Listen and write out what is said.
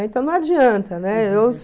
Então não adianta, né?